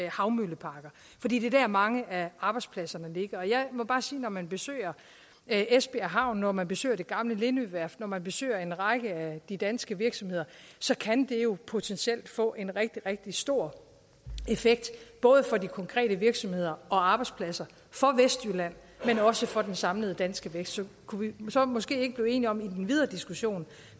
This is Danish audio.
havmølleparker fordi det er der mange af arbejdspladserne ligger og jeg må bare sige at når man besøger esbjerg havn når man besøger det gamle lindøværft når man besøger en række af de danske virksomheder kan det jo potentielt få en rigtig rigtig stor effekt både for de konkrete virksomheder og arbejdspladser for vestjylland men også for den samlede danske vækst kunne vi så måske ikke blive enige om i den videre diskussion